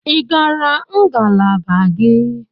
Ị gara ngalaba gị?